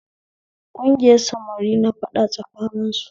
Kugiyar samari na faɗa tsakanin su